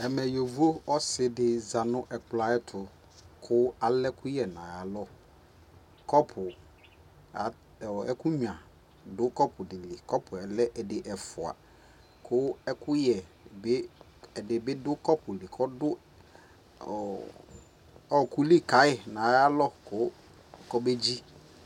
ɛmɛ yɔvɔ ɔsiidi zanʋ ɛkplɔ ayɛtʋ kʋ alɛ ɛkʋyɛ nʋ ayialɔ, cʋpʋ, ɛkʋ nyʋa dʋ cʋpʋ dili, cʋpʋɛ lɛ ɛdi ɛƒʋa kʋɛkʋyɛ bi, ɛdibidʋcʋpʋɛ li kɔdʋ ɔkʋli kayi nʋ ayialɔ kʋɔbɛ dzi